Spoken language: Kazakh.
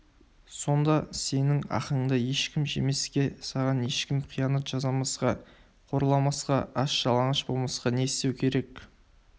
сонда сенің ақыңды ешкім жемеске саған ешкім қиянат жасамасқа қорламасқа аш-жалаңаш болмасқа не істеу керек